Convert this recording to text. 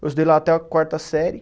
Eu estudei lá até a quarta série.